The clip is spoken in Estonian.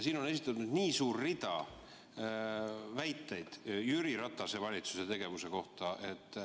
Siin on esitatud pikk rida väiteid Jüri Ratase valitsuse tegevuse kohta.